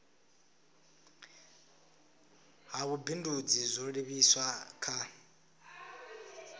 ha vhubindudzi zwo livhiswa kha